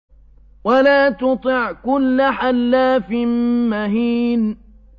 وَلَا تُطِعْ كُلَّ حَلَّافٍ مَّهِينٍ